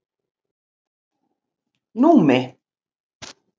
Númi